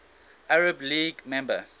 arab league member